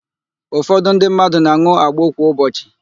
Ụfọdụ ndị mmadụ na-an̄ụ agbo kwa ụbọchị.